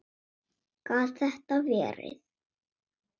Gat þetta verið?